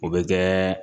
O bɛ kɛ